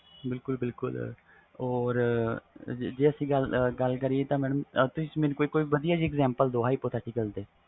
ਬਿਲਕੁਲ ਬਿਲਕੁਲ mam or ਜੇਕਰ ਅਸੀਂ ਗੱਲ ਕਰੀਏ hypothecial ਦੀ ਕੋਈ ਵਧੀਆ ਜੀ example ਦਾਓ